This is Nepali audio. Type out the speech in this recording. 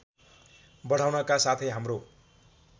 बढाउनका साथै हाम्रो